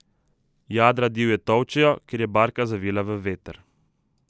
Jadra divje tolčejo, ker je barka zavila v veter.